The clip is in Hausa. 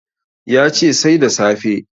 Ya ce Sai da safe